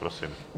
Prosím.